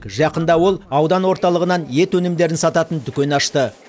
жақында ол аудан орталығынан ет өнімдерін сататын дүкен ашты